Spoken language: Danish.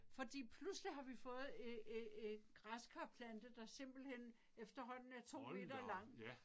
Fordi pludselig har vi fået en en en græskarplante der simpelthen efterhånden er 2 meter lang